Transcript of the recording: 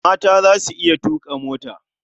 Mata za su iya tuƙa mota.